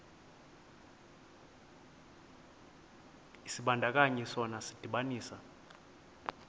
isibandakanyi sona sidibanisa